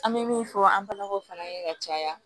An bɛ min fɔ an balakaw fana ye ka caya